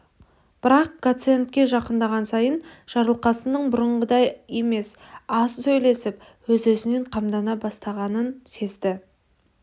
бірақ гациендке жақындаған сайын жарылқасынның бұрынғыдай емес аз сөйлесіп өз-өзінен қамдана бастағанын сезді